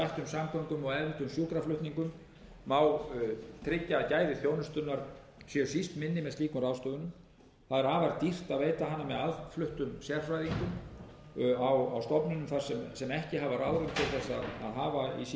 samgöngum og efldum sjúkraflutningum tryggja að gæði þjónustunnar séu síst minni með slíkum ráðstöfunum það er afar dýrt að veita hana með aðfluttum sérfræðingum á stofnunum sem ekki hafa ráðrúm til þess að hafa